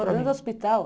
Morou dentro do hospital?